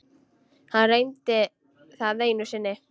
Hann reyndi það einu sinni.